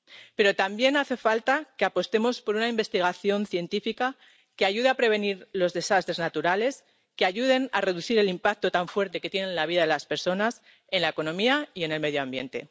Pero también hace falta que apostemos por una investigación científica que ayude a prevenir los desastres naturales y que ayude a reducir el impacto tan fuerte que tiene en la vida de las personas, en la economía y en el medio ambiente.